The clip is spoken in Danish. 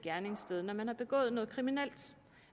gerningssted når man har begået noget kriminelt